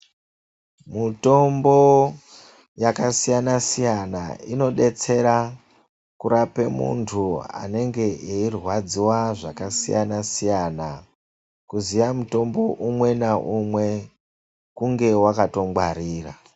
Mutombo yakasiyana-siyana inodetsera kurape muntu anenge eirwadziwa zvakasiyana-siyana. Kuziya mutombo umwe naumwe kunge wakatongwarira.